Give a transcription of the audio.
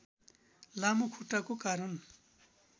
लामो खुट्टाको कारण